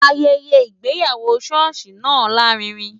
Ayẹyẹ ìgbéyàwó ṣọ́ọ̀ṣì náà lárinrin.